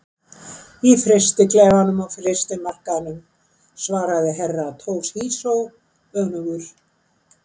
Í frystiklefanum á fiskmarkaðinum, svaraði Herra Toshizo önugur.